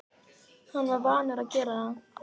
Hann var vanur að gera það.